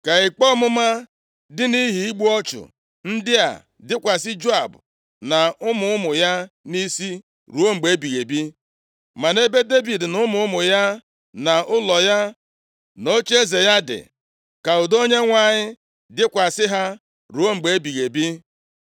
Ka ikpe ọmụma dị nʼihi igbu ọchụ ndị a dịkwasị Joab na ụmụ ụmụ ya nʼisi ruo mgbe ebighị ebi. Ma nʼebe Devid na ụmụ ụmụ ya, na ụlọ ya, na ocheeze ya dị, ka udo Onyenwe anyị dịkwasị ha ruo mgbe ebighị ebi.”